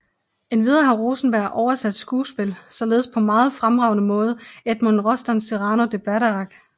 Endvidere har Rosenberg oversat skuespil således på meget fremragende måde Edmond Rostands Cyrano de Bergerac